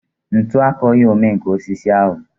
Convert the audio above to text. Ntu akọghị omenkà osisi ahụ